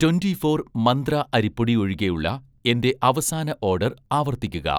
twenty four മന്ത്ര അരിപ്പൊടി ഒഴികെയുള്ള എന്‍റെ അവസാന ഓഡർ ആവർത്തിക്കുക